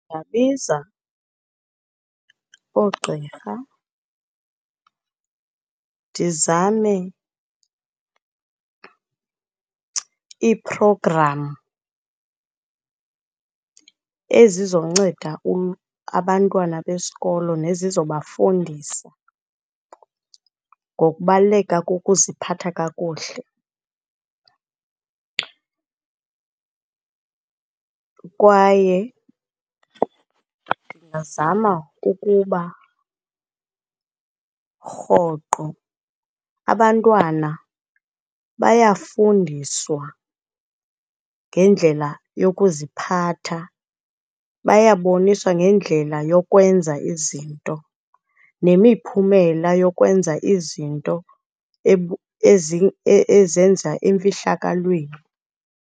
Ndingabiza oogqirha, ndizame iiphrogramu ezizonceda abantwana besikolo nezizobafundisa ngokubaluleka kokuziphatha kakuhle, kwaye ndingazama ukuba rhoqo abantwana bayafundiswa ngendlela yokuziphatha, bayaboniswa ngendlela yokwenza izinto nemiphumela yokwenza izinto enzenza emfihlakalweni.